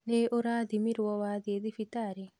Nĩ ũrathimirwo wathiĩ thibitarĩ?